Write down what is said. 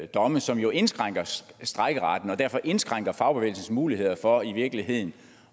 domme som jo indskrænker strejkeretten og derfor indskrænker fagbevægelsens muligheder for i virkeligheden